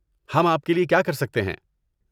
ہم آپ کے لیے کیا کر سکتے ہیں؟